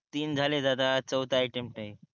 तीन झाले दादा चौथा आहे अटेम्प्ट आहे